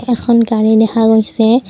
এখন গাড়ী দেখা গৈছে।